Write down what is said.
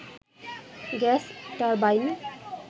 gas turbine